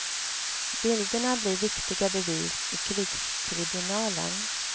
Bilderna blir viktiga bevis i krigstribunalen.